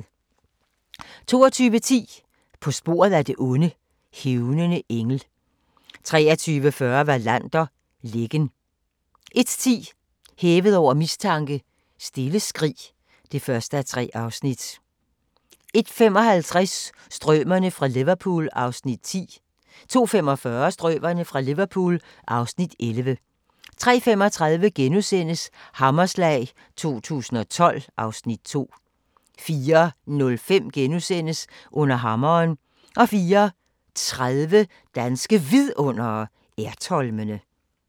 22:10: På sporet af det onde: Hævnende engel 23:40: Wallander: Lækken 01:10: Hævet over mistanke: Stille skrig (1:3) 01:55: Strømerne fra Liverpool (Afs. 10) 02:45: Strømerne fra Liverpool (Afs. 11) 03:35: Hammerslag 2012 (Afs. 2)* 04:05: Under hammeren * 04:30: Danske Vidundere: Ertholmene